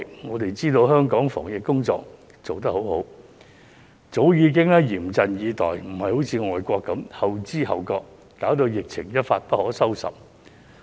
我們知道香港的防疫工作做得相當好，早已嚴陣以待，不像某些海外國家那樣後知後覺，導致疫情一發不可收拾。